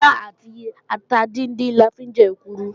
Ilá àti ata díndín la fi ń jẹ èkuru